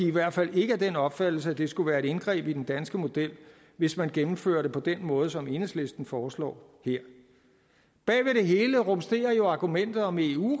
i hvert fald ikke af den opfattelse at det skulle være et indgreb i den danske model hvis man gennemfører det på den måde som enhedslisten foreslår her bagved det hele rumsterer jo argumentet om eu